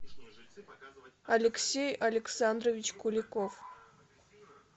алексей александрович куликов